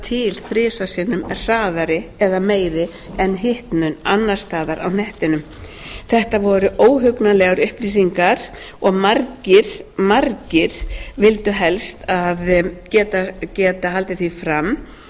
til þrisvar sinnum hraðari eða meiri en hitnun annars staðar á hnettinum þetta voru óhugnanlegar upplýsingar og margir margir valdi helst geta haldið því fram